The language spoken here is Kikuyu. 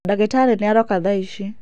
Ndagitarĩ nĩ aroka thaici.